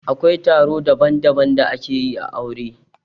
Akwai taro daban-daban da ake yi ã aure.